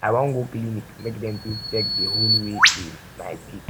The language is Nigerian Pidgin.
i wan go clinic make dentist check di hole wey dey my teeth